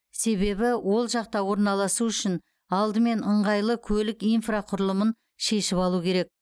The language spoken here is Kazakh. себебі ол жақта орналасу үшін алдымен ыңғайлы көлік инфрақұрылымын шешіп алу керек